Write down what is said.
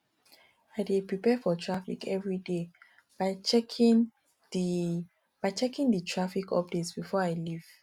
i dey prepare for traffic every day by checking the by checking the traffic update before i leave